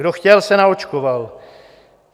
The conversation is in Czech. Kdo chtěl, se naočkoval.